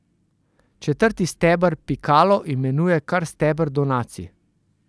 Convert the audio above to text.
Četrti steber Pikalo imenuje kar steber donacij.